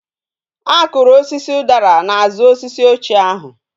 A kuru osisi udara na azu osisi ochie ahu